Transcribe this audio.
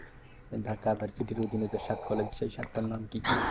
Dhaka university র অধীনে যে সাত collage সেই সাতটার নাম কি কি?